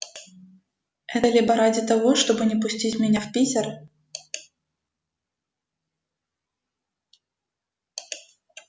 это либо ради того чтобы не пустить меня в питер